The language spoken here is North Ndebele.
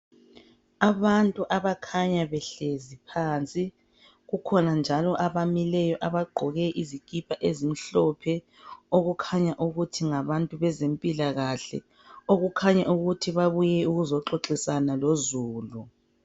Abantu abakhanya behlezi phansi, kukhona njalo abamileyo abagqoke izikipa ezimhlophe okukhanya ukuthi ngabantu bezempilakahle okukhanya ukuthi babuye ukuzoxoxisana lozulu.